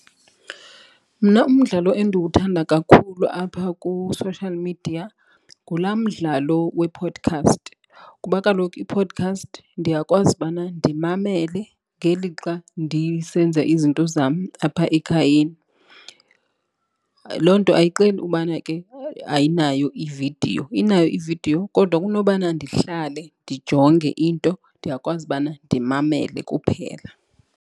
Mna umdlalo endiwuthanda kakhulu apha ku-social media ngulaa mdlalo we-podcast kuba kaloku i-podcast ndiyakwazi ubana ndimamele ngelixa ndisenza izinto zam apha ekhayeni. Loo nto ayixeli ubana ke ayinayo i-video, inayo i-video kodwa kunobana ndihlale ndijonge into ndiyakwazi ubana ndimamele kuphela.